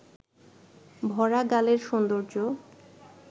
ভরা গালের সৌন্দর্য